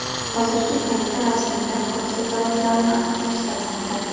Hozirgi paytda rasmiylar hodisa sabablarini aniqlashtirmoqda.